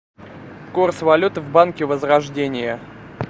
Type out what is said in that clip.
курс валюты в банке возрождение